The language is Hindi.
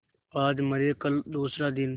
आज मरे कल दूसरा दिन